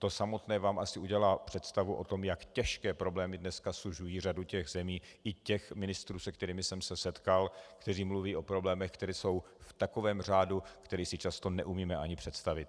To samotné vám asi udělá představu o tom, jak těžké problémy dneska sužují řadu těch zemí i těch ministrů, se kterými jsem se setkal, kteří mluví o problémech, které jsou v takovém řádu, který si často neumíme ani představit.